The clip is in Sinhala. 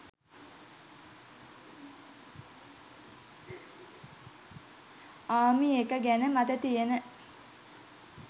'ආමිඑක' ගැන මට තියෙන